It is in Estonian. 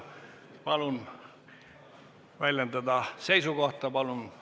Palun väljendada seisukohta!